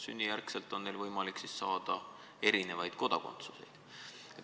Sünnijärgselt on neil lastel võimalik saada erinevaid kodakondsuseid.